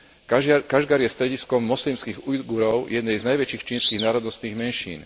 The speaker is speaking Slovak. Kašgar je strediskom moslimských Ujgurov jednej z najväčších čínskych národnostných menšín.